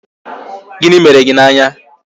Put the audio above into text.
Gịnị mere gị n' anya?